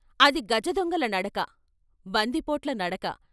అది గజదొంగల నడక, బందిపోట్ల నడక.